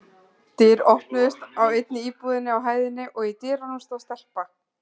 Dyr opnuðust á einni íbúðinni á hæðinni og í dyrunum stóð stelpa.